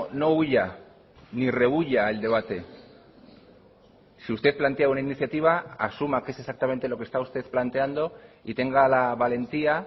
no huya ni rehúya el debate si usted plantea una iniciativa asuma qué es exactamente lo que está usted planteando y tenga la valentía